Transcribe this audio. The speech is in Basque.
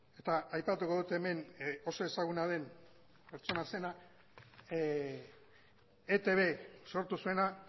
eta aipatuko dut hemen oso ezaguna den pertsona zena etb sortu zuena